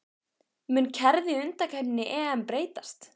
Mun kerfið í undankeppni EM breytast?